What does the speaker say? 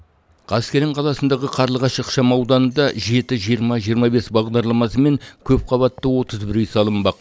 қаскелең қаласындағы қарлығаш ықшам ауданында жеті жиырма жиырма бес бағдарламасымен көпқабатты отыз бір үй салынбақ